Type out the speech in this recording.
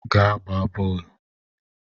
Gaa gbaa boolu!